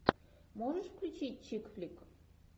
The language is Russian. можешь включить чик флик